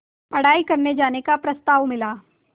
पढ़ाई करने जाने का प्रस्ताव मिला